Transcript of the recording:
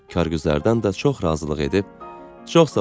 Kargüzərdən də çox razılıq edib, çox sağ ol.